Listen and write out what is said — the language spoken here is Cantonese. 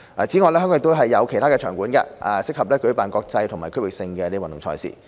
此外，香港亦有其他場館，適合舉辦國際及區域性的運動賽事。